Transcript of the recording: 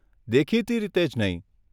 દેખીતી રીતે જ નહીં.